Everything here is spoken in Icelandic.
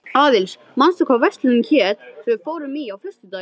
Aðils, manstu hvað verslunin hét sem við fórum í á föstudaginn?